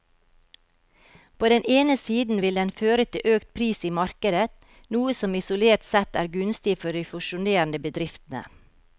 På den ene siden vil den føre til økt pris i markedet, noe som isolert sett er gunstig for de fusjonerende bedriftene.